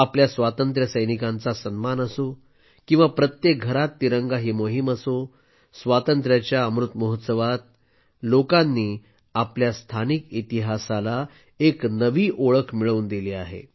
आपल्या स्वातंत्र्य सैनिकांचा सन्मान असो किंवा प्रत्येक घरात तिरंगा ही मोहीम असो स्वातंत्र्याच्या अमृत महोत्सवात लोकांनी आपल्या स्थानिक इतिहासाला एक नवी ओळख मिळवून दिली आहे